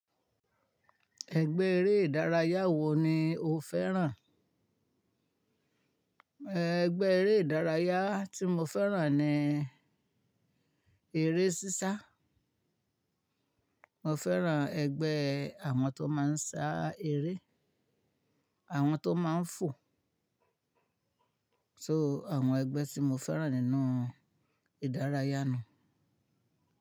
Ẹgbẹ́ eré ìdárayá wo ni o fẹ́ràn? Ẹ̀, ẹgbẹ́ eré ìdárayá tí mo fẹ́ràn ni eré sísá. Mo fẹ́ràn ẹgbẹ́ àwọn tó máa ń sá eré, àwọn tó máa ń fò. So àwọn ẹgbẹ́ tí mo fẹ́ràn nínú ìdárayá nù.